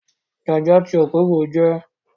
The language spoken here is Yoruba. Jaja ti Okpobo jẹ́